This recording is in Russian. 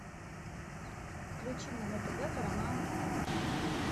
включи мне на тв парамаунт камеди